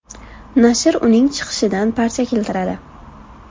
Nashr uning chiqishidan parcha keltiradi.